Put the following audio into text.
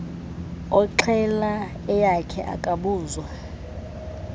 oxhela eyakhe akabuzwa